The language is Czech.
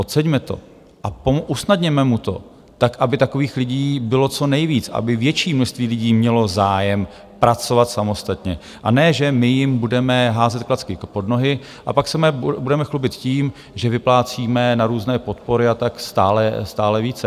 Oceňme to a usnadněme mu to tak, aby takových lidí bylo co nejvíc, aby větší množství lidí mělo zájem pracovat samostatně, a ne, že my jim budeme házet klacky pod nohy a pak se budeme chlubit tím, že vyplácíme na různé podpory a tak, stále více.